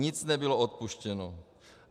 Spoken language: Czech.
Nic nebylo odpuštěno.